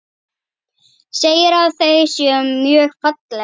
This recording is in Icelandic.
Segir að þau séu mjög falleg.